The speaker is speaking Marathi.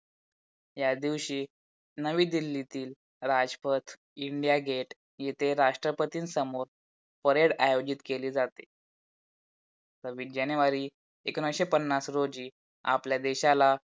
या दिवशी नवी दिल्लीतील राजपथ, इंडिया गेट इथे राष्ट्रपतीन समोर PARADE आयेजित केली जाते. सव्वीस जानेवारी एकोणीशे पन्नास रोजी आपल्या देशाला